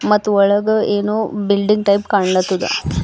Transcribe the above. ಮತ್ತು ಒಳಗ ಏನೋ ಬಿಲ್ಡಿಂಗ್ ಟೈಪ್ ಕಾಣುತ್ತದ.